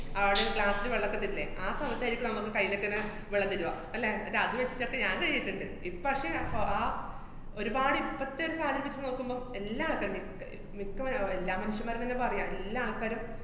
അവടൊരു glass ല് വെള്ളോക്കെ തരില്ലേ, ആ സമയത്താര്ക്കും നമ്മക്ക് കൈയിലൊക്കെ ങ്ങനെ വെള്ളം തര്വ, അല്ലേ, ന്നിട്ടതു വച്ചിട്ടൊക്കെ ഞാന്‍ കൈ കഴുകീട്ട്ണ്ട്. ഇപ്പ പക്ഷെ, കൊ~ ആ ഒരുപാട് ഇപ്പത്തെ ഒരു കാര്യം വച്ച് നോക്കുമ്പോ എല്ലാം ആൾക്കാന്‍റേം അഹ് ഏർ മിക്കവര് അവ~ എല്ലാ മനുഷ്യന്മാര്‍ക്കും ന്ന് പറയാം, എല്ലാ ആൾക്കാരും